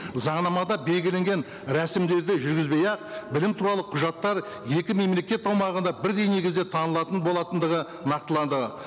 заңнамада белгіленген рәсімдерді жүргізбей ақ білім туралы құжаттар екі мемлекет аумағында бірдей негізде танылатын болатындығы нақтыланды